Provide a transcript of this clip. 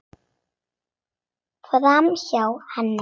Framhjá henni.